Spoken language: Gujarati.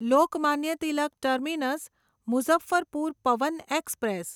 Lokmanya Tilak terminus Muzaffarpur Pawan express